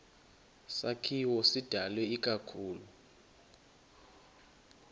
sakhiwo sidalwe ikakhulu